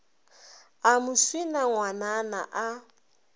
a mo swina ngwanana a